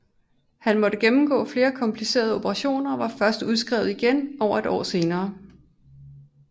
Han måtte gennemgå flere komplicerede operationer og var først udskrevet igen over et år senere